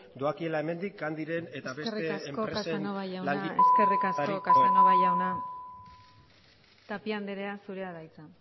doakiela hemendik candyren eta beste enpresen langile eskerrik asko casanova jauna tapia anderea zurea da hitza